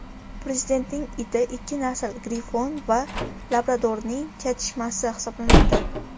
Prezidentning iti ikki nasl grifon va labradorning chatishmasi hisoblanadi.